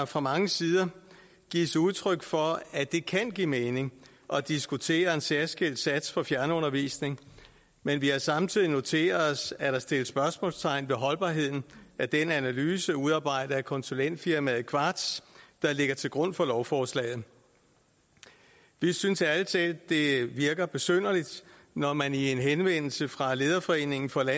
fra mange sider gives udtryk for at det kan give mening at diskutere en særskilt sats for fjernundervisning men vi har samtidig noteret os at der sættes spørgsmålstegn ved holdbarheden af den analyse udarbejdet af konsulentfirmaet qvartz der ligger til grund for lovforslaget vi synes ærlig talt at det virker besynderligt når man i en henvendelse fra lederforeningen for